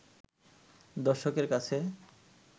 দর্শকের কাছে